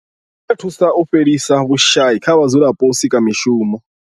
I dovha ya thusa u fhelisa vhushayi kha vhadzulapo nga u sika mishumo.